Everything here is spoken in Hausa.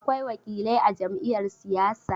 Akwai wakilai a jam'iyar siyasa.